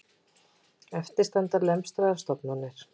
En eftir standa lemstraðar stofnanir